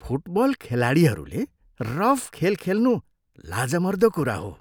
Football खेलाडीहरूले rough खेल खेल्नु लाजमर्दो कुरा हो।